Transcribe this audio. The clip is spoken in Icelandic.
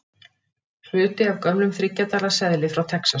Hluti af gömlum þriggja dala seðli frá Texas.